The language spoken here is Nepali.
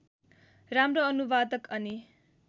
राम्रो अनुवादक अनि